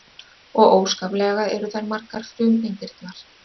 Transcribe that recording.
Og óskaplega eru þær margar frumeindirnar.